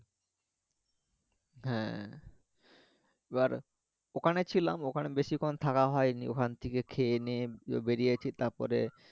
হ্যা এবার ওখানে ছিলাম ওখানে বেশিক্ষণ থাকা হয়নি ওখান থেকে খেয়ে নিয়ে বেরিয়েছি তারপরে